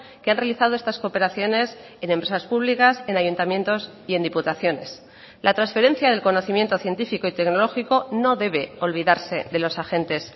que han realizado estas cooperaciones en empresas públicas en ayuntamientos y en diputaciones la transferencia del conocimiento científico y tecnológico no debe olvidarse de los agentes